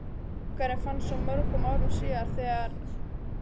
Bikarinn fannst svo mörgum árum síðar þegar